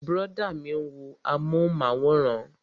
Brọ̀dá mi ń wo amúhùnmáwòrán